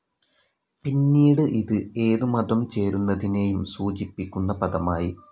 പിന്നീട് ഇത് ഏത് മതം ചേരുന്നതിനേയും സൂചിപ്പിക്കുന്ന പദമായി.